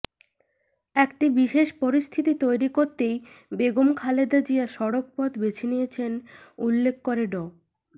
একটি বিশেষ পরিস্থিতি তৈরি করতেই বেগম খালেদা জিয়া সড়ক পথ বেঁছে নিয়েছেন উল্লেখ করে ড